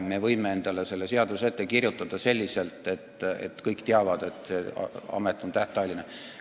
Me võime selle seaduse kirjutada sellise, et kõik teavad, et amet on tähtajaline.